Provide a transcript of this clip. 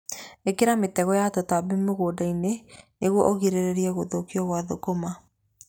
Ĩkĩra mĩtego ya tũtambi mũgũnda-inĩ nĩguo ũgirĩrĩrie gũthũkio gwa thũkũma.